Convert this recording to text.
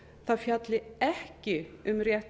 það fjalli ekki um rétt